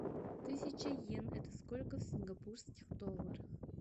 тысяча йен это сколько в сингапурских долларах